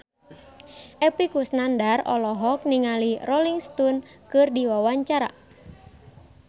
Epy Kusnandar olohok ningali Rolling Stone keur diwawancara